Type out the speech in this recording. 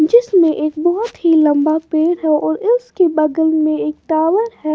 जिसमे एक बहुत ही लंबा पेड़ है और इसके बगल में एक टाअर है।